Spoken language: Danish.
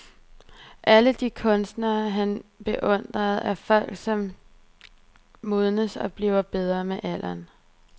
Alle de kunstnere, han beundrer, er folk som modnes og bliver bedre med alderen.